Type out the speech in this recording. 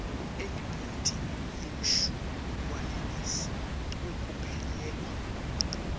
elibhodi lemshuwalensi wekuphelelwa